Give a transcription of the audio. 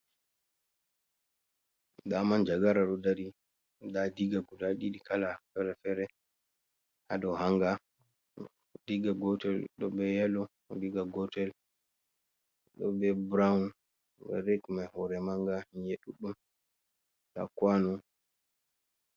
Da Manjagara ɗodari, da Diga guda ɗiɗiɗi kala fere-fere, hado hanga, Diga gotel doɓe yalo, Diga gotel dobe burawun, red mai hure manga nyi'ae ɗudɗum da kwano.